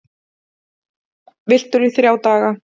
Villtur í þrjá daga